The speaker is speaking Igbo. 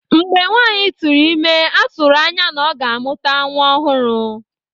Mgbe nwanyị tụrụ ime, a tụrụ anya na ọ ga-amụta nwa ọhụrụ.